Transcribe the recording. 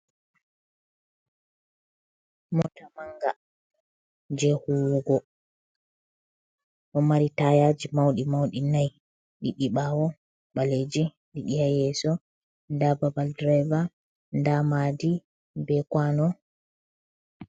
Mota manga je huwugo. Ɗo mari tayaaji mauɗi-mauɗi nayi, ɗiɗi ɓaawo ɓaleeji, ɗiɗi haa yeeso, nda babal dirayva, nda mahdi be kwaano.